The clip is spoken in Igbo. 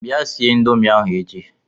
Bịa sie Ịndomì ahụ echi!